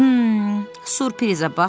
Hım, sürprizə bax!